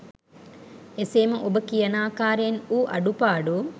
එසේම ඔබ කියනාකාරයෙන් වූ අඩු පාඩු